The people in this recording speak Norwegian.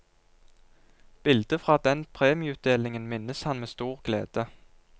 Bildet fra den premieutdelingen minnes han med stor glede.